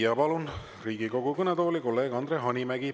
Ja palun Riigikogu kõnetooli, kolleeg Andre Hanimägi.